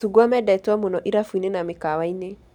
Macungwa mendetwo mũno irabũ-inĩ na mĩkawa-inĩ